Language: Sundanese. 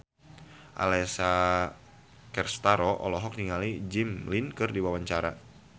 Alessia Cestaro olohok ningali Jimmy Lin keur diwawancara